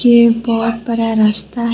यह बहुत बड़ा रास्ता है।